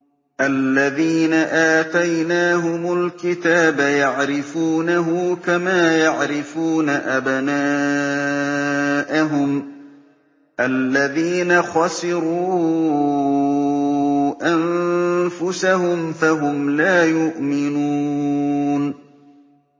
الَّذِينَ آتَيْنَاهُمُ الْكِتَابَ يَعْرِفُونَهُ كَمَا يَعْرِفُونَ أَبْنَاءَهُمُ ۘ الَّذِينَ خَسِرُوا أَنفُسَهُمْ فَهُمْ لَا يُؤْمِنُونَ